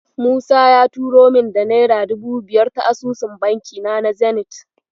Musa ya turo min da naira dubu biyar ta asusun bankina na Zenit.